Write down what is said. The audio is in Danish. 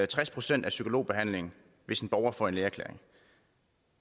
tres procent af psykologbehandlingen hvis en borger får en lægeerklæring